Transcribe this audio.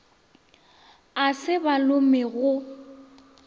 a se ba lome go